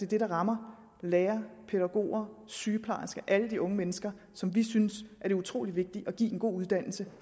det der rammer lærere pædagoger sygeplejersker alle de unge mennesker som vi synes det er utrolig vigtigt at give en god uddannelse